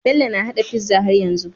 Bello na hada pizza har yanzu